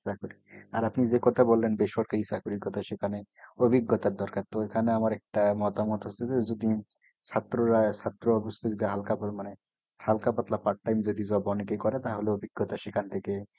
চাকুরী আর আপনি যে কথা বললেন, বেসরকারি চাকরির কথা, সেখানে অভিজ্ঞতার দরকার। তো এখানে আমার একটা মতামত হচ্ছে যে, যদি ছাত্ররা ছাত্র অবস্থায় যদি হালকাপল মানে, হালকা পাতলা part time job যদি অনেকেই করে তাহলে অভিজ্ঞতা সেখান থেকে